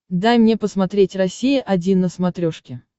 дай мне посмотреть россия один на смотрешке